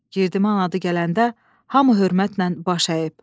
Girdiman adı gələndə hamı hörmətlə baş əyib.